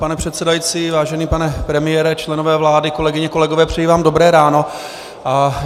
Pane předsedající, vážený pane premiére, členové vlády, kolegyně, kolegové, přeji vám dobré ráno.